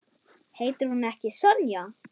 Heitir hún ekki Sonja?